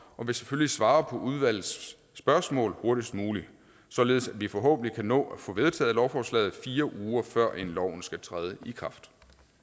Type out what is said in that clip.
og vil selvfølgelig svare på udvalgets spørgsmål hurtigst muligt således at vi forhåbentlig kan nå at få vedtaget lovforslaget fire uger før loven skal træde i kraft